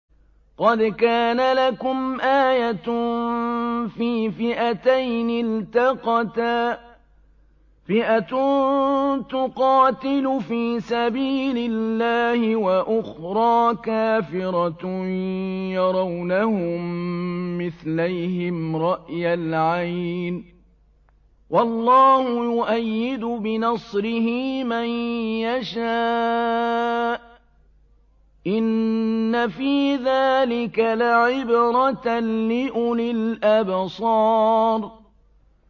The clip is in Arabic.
قَدْ كَانَ لَكُمْ آيَةٌ فِي فِئَتَيْنِ الْتَقَتَا ۖ فِئَةٌ تُقَاتِلُ فِي سَبِيلِ اللَّهِ وَأُخْرَىٰ كَافِرَةٌ يَرَوْنَهُم مِّثْلَيْهِمْ رَأْيَ الْعَيْنِ ۚ وَاللَّهُ يُؤَيِّدُ بِنَصْرِهِ مَن يَشَاءُ ۗ إِنَّ فِي ذَٰلِكَ لَعِبْرَةً لِّأُولِي الْأَبْصَارِ